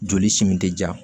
Joli simin tɛ ja